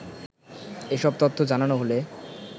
এসব তথ্য জানানো হলে